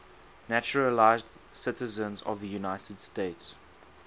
naturalized citizens of the united states